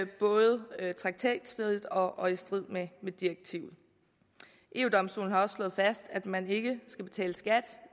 både traktatstridigt og i strid med direktivet eu domstolen har også slået fast at man ikke skal betale skat